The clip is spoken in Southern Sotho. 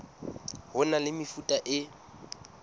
ho na le mefuta e